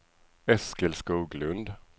Eskil Skoglund